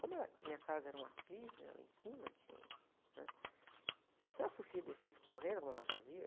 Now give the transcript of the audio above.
Como era, a minha casa era um aclive, né? Lá em cima tinha, né? Se a Sofia descesse correndo, como ela fazia...